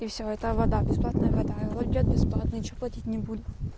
и всё это вода бесплатная вода уйдёт бесплатно ничего платить не будет